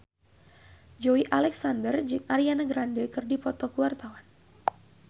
Joey Alexander jeung Ariana Grande keur dipoto ku wartawan